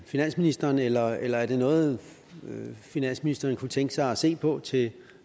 finansministeren eller eller er det noget finansministeren måske kunne tænke sig at se på til